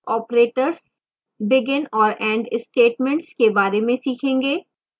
operators